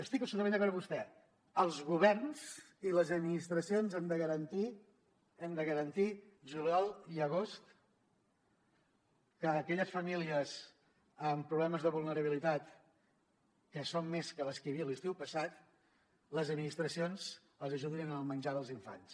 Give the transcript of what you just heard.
estic absolutament d’acord amb vostè els governs i les administracions hem de garantir hem de garantir juliol i agost que a aquelles famílies amb problemes de vulnerabilitat que són més que les que hi havia l’estiu passat les administracions els ajudin en el menjar dels infants